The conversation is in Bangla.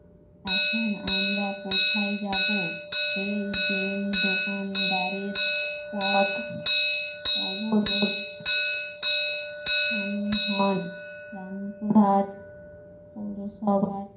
এখন আমরা কোথায় যাবো? এই দিন দোকানদারের পথ অবরোধ সামিল হন রামপুরহাট পৌরসভার